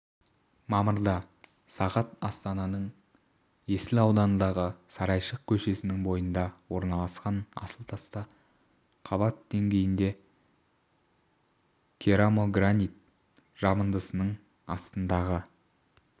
мамырда сағат астананың есіл ауданындағы сарайшық көшесінің бойында орналасқан асыл таста қабат деңгейінде керамогранит жабындысының астындағы